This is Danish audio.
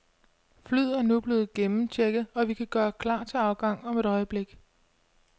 Flyet er nu blevet gennemchecket, og vi kan gøre klar til afgang om et øjeblik.